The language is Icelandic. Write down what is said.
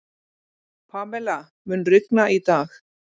Pamela, mun rigna í dag?